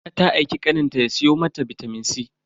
Aisha ta aiki kaninta ya siyo mata bitamin C.